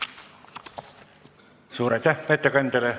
Suur aitäh ettekandjale!